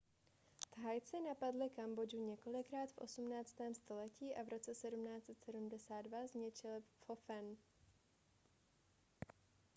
thajci napadli kambodžu několikrát v 18. století a v roce 1772 zničili phnompenh